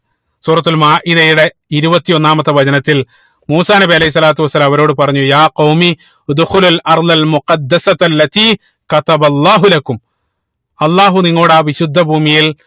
സൂറത്തുൽ മാഇതയുടെ ഇരുപത്തി ഒന്നാമത്തെ വചനത്തിൽ മൂസാ നബി അലൈഹി സ്വലാത്തു വസ്സലാം അവരോട് പറഞ്ഞു അള്ളാഹു അള്ളാഹു നിങ്ങളോട് ആ വിശുദ്ധ ഭൂമിയിൽ